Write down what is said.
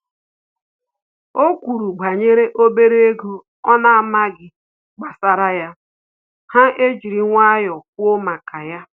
O kwuru banyere obere ego ọ na-amaghị gbasara ya, ha ejiri nwayọọ kwụọ maka ya